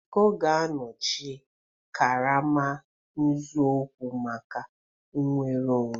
Iko ga-anọchi karama, nzọụkwụ maka nnwere onwe.